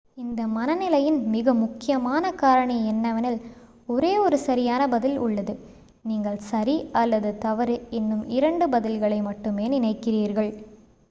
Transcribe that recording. இந்த மனநிலையின் மிக முக்கியமான காரணி என்னவெனில் ஒரே ஒரு சரியான பதில் உள்ளது நீங்கள் சரி அல்லது தவறு என்னும் இரண்டு பதில்களை மட்டுமே நினைக்கிறீர்கள்